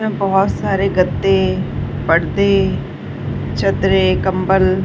में बहोत सारे गद्दे पर्दे चदरे कम्बल --